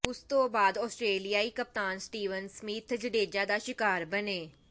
ਉਸ ਤੋਂ ਬਾਅਦ ਆਸਟਰੇਲਿਆਈ ਕਪਤਾਨ ਸਟੀਵਨ ਸਮਿਥ ਜਡੇਜਾ ਦਾ ਸ਼ਿਕਾਰ ਬਣੇ